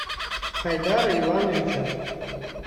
хайдара ивановича